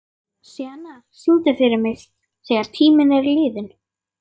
Sjana, syngdu fyrir mig „Þegar tíminn er liðinn“.